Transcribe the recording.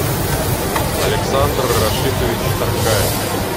александр рашитович таркаев